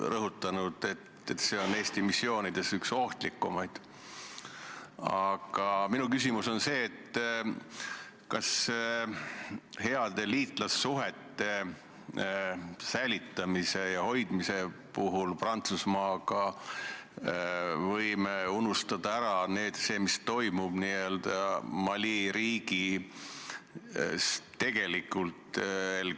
Lisaks otsustas riigikaitsekomisjon konsensuslikult, et Riigikogule tehakse ettepanek eelnõu teine lugemine lõpetada, Riigikogu kodu- ja töökorra seaduse §-le 109 tuginedes eelnõu lõpphääletusele panna ja Riigikogu otsusena vastu võtta.